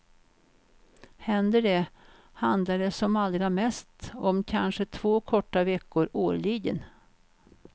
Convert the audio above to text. Händer det, handlar det som allra mest om kanske två korta veckor årligen.